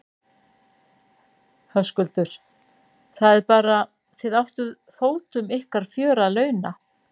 Höskuldur: Það er bara, þið áttuð fótum ykkar fjör að launa?